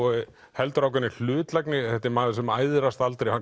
heldur ákveðinni hlutlægni þetta er maður sem æðrast aldrei hann